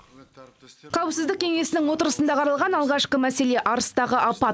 қауіпсіздік кеңесінің отырысында қаралған алғашқы мәселе арыстағы апат